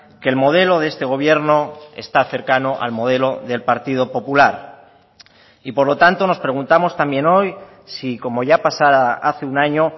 que el modelo de este gobierno está cercano al modelo del partido popular y por lo tanto nos preguntamos también hoy si como ya pasará hace un año